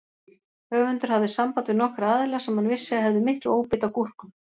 Höfundur hafði samband við nokkra aðila sem hann vissi að hefðu mikla óbeit á gúrkum.